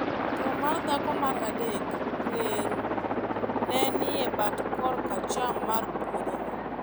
to mar dhako mar adek (Reru) ne nie bat koracham mar puodhono.